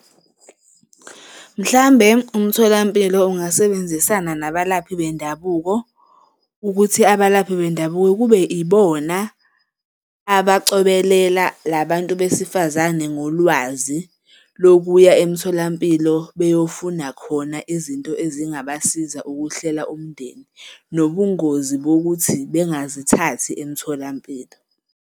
Mhlambe umtholampilo ungasebenzisana nabalaphi bendabuko ukuthi abalaphi bendabuko kube ibona abacobelela la bantu besifazane ngolwazi lokuya emtholampilo beyofuna khona izinto ezingabasiza ukuhlela umndeni, nobungozi bokuthi bengazithathi emtholampilo.